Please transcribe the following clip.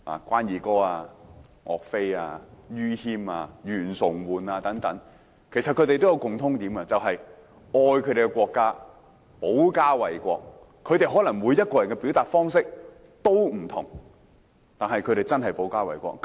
關羽、岳飛、于謙、袁崇煥等都有一個共通點，就是愛自己的國家，致力保家衞國，他們每一個人的表達方式都可能有不同，但卻真的做到保家衞國。